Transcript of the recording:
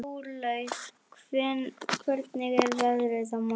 Jórlaug, hvernig er veðrið á morgun?